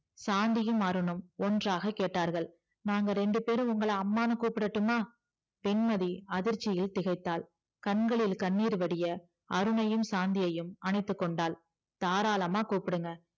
சாந்தியும் அருணும் ஒன்றாக கேட்டார்கள் நாங்க ரெண்டு பேரும் உங்கள அம்மான்னு கூப்டட்டுமா வெண்மதி அதிர்ச்சியில் திகைத்தாள் கண்களில் கண்ணீர்வடிய அருணையும் சாந்தியையும் அணைத்துகொண்டாள் தாராளமா கூப்டுங்க